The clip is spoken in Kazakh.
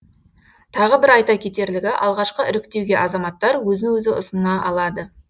тағы бір айта кетерлігі алғашқы іріктеуге азаматтар өзін өзі ұсына алады